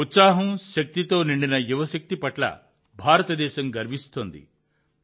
ఉత్సాహం శక్తితో నిండిన యువశక్తి పట్ల భారతదేశం గర్విస్తోంది